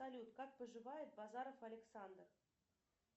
салют как поживает базаров александр